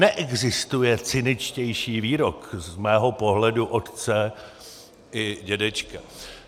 Neexistuje cyničtější výrok z mého pohledu otce i dědečka.